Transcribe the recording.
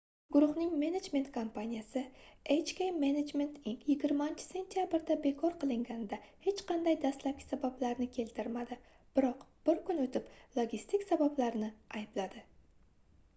guruhning menejment kompaniyasi hk management inc 20-sentabrda bekor qilganida hech qanday dastlabki sabablarni keltirmadi biroq bir kun oʻtib logistik sabablarni aybladi